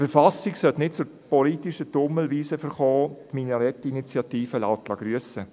Eine Verfassung sollte nicht zur politischen Tummelwiese verkommen – die Minarett-Initiative lässt grüssen.